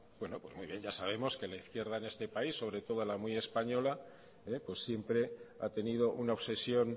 pues muy bien ya sabemos que la izquierda en este país sobre todo la muy española siempre ha tenido una obsesión